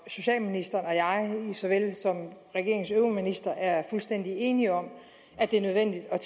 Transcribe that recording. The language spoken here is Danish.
socialministeren som jeg som regeringens øvrige ministre er fuldstændig enige om at det er nødvendigt at